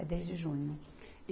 É desde junho.